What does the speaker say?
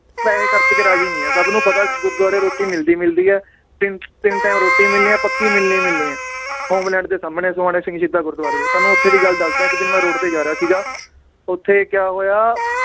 ਪੈਸੇ ਖਰਚ ਕੇ ਰਾਜੀ ਨੀ ਹੈ ਸਬ ਨੂੰ ਪਤਾ ਗੁਰਦਵਾਰੇ ਰੋਟੀ ਮਿਲਦੀ ਮਿਲਦੀ ਏ ਤਿੰਨ ਤਿੰਨ time ਰੋਟੀ ਮਿਲਣੀ ਏ ਪੱਕੀ ਮਿਲਣੀ ਮਿਲਣੀ ਏ ਹੋਮਲੈਂਡ ਦੇ ਸਾਮਣੇ ਸੋਹਾਣੇ ਸਿੰਘ ਸ਼ਹੀਦਾਂ ਗੁਰਦਵਾਰੇ ਦੀ, ਤੁਹਾਨੂੰ ਓਥੇ ਦੀ ਗੱਲ ਦੱਸਦਾਂ ਏ ਇੱਕ ਦਿਨ ਮੈ road ਤੇ ਜਾ ਰਿਹਾ ਸੀਗਾ ਓਥੇ ਕਿਆ ਹੋਇਆ